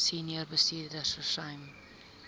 senior bestuurders versuim